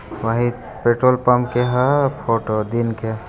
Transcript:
वही petrol pump के हे फोटो दिन के।